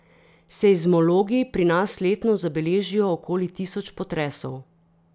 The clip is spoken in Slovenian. Seizmologi pri nas letno zabeležijo okoli tisoč potresov.